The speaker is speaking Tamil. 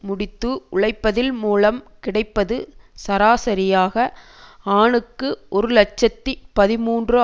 முடித்து உழைப்பதில் மூலம் கிடைப்பது சராசரியாக ஆணுக்கு ஒரு இலட்சத்தி பதிமூன்று